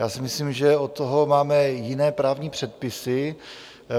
Já si myslím, že od toho máme jiné právní předpisy.